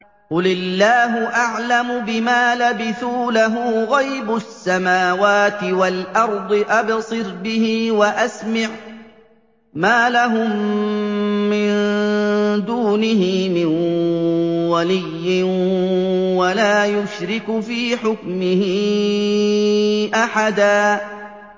قُلِ اللَّهُ أَعْلَمُ بِمَا لَبِثُوا ۖ لَهُ غَيْبُ السَّمَاوَاتِ وَالْأَرْضِ ۖ أَبْصِرْ بِهِ وَأَسْمِعْ ۚ مَا لَهُم مِّن دُونِهِ مِن وَلِيٍّ وَلَا يُشْرِكُ فِي حُكْمِهِ أَحَدًا